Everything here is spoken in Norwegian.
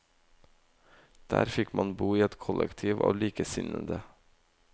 Der fikk man bo i et kollektiv av likesinnende.